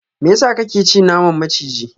meyasa kake ci naman maciji?